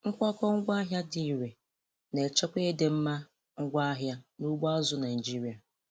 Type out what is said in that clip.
Nkwakọ ngwaahịa dị irè na-echekwa ịdịmma ngwaahịa n'ugbo azụ̀ Naịjiria.